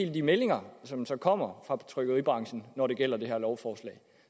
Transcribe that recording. er de meldinger som så kommer fra trykkeribranchen når det gælder det her lovforslag